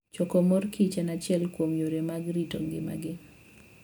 Choko mor kich en achiel kuom yore mag rito kit ngimagi.